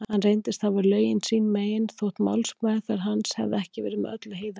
Hann reyndist hafa lögin sín megin, þótt málsmeðferð hans hefði ekki verið með öllu heiðarleg.